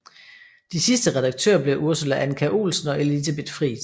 De sidste redaktører blev Ursula Andkjær Olsen og Elisabeth Friis